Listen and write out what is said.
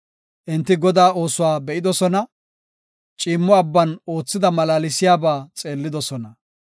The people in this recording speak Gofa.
Enti Godaa oosuwa be7idosona; ciimmo abban oothida malaalsiyaba xeellidosona.